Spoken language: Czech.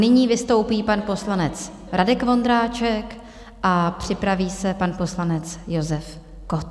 Nyní vystoupí pan poslanec Radek Vondráček a připraví se pan poslanec Josef Kott.